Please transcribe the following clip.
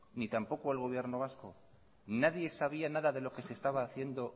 ni tampoco el gobierno vasco nadie sabía nada de lo que se estaba haciendo